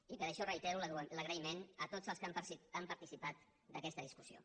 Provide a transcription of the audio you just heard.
i per això reitero l’agraïment a tots els que han participat d’aquesta discussió